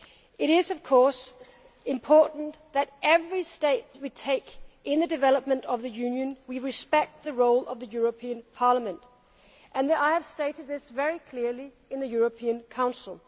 It is of course important that at every step we take in the development of the Union we respect the role of the European Parliament, and I have stated this very clearly in the European Council.